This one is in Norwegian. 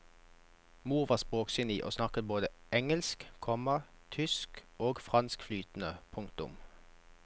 Mor var språkgeni og snakket både engelsk, komma tysk og fransk flytende. punktum